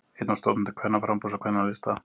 Einn af stofnendum Kvennaframboðs og Kvennalista